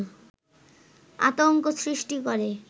আতংক সৃষ্টি করে